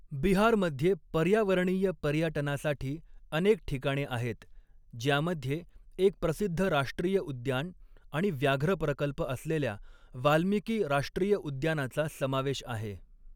बिहारमध्ये पर्यावरणीय पर्यटनासाठी अनेक ठिकाणे आहेत, ज्यामध्ये एक प्रसिद्ध राष्ट्रीय उद्यान आणि व्याघ्र प्रकल्प असलेल्या वाल्मिकी राष्ट्रीय उद्यानाचा समावेश आहे.